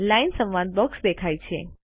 line સંવાદ box દેખાય છે